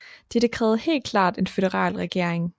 Dette krævede helt klart en føderal regering